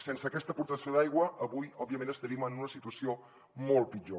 sense aquesta aportació d’aigua avui òbviament estaríem en una situació molt pitjor